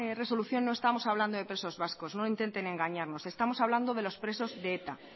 resolución no estamos hablando de presos vascos no intenten engañarnos estamos hablando de los presos de eta